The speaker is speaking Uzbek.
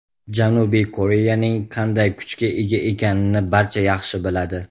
Janubiy Koreyaning qanday kuchga ega ekanini barcha yaxshi biladi.